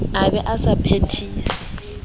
a be a sa phethise